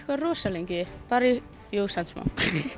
rosa lengi jú samt smá